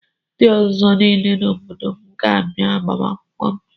Ndị ọzọ niile n'obodo m ga-abịa agbamakwụkwọ m.